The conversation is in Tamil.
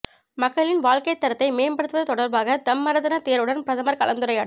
மக்களின் வாழ்க்கை தரத்தை மேம்படுத்துவது தொடர்பாக தம்மரதன தேரருடன் பிரதமர் கலந்துரையாடல்